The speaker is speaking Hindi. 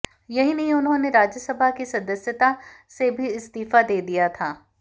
यही नहीं उन्होंने राज्यसभा की सदस्यता से भी इस्तीफा दे दिया था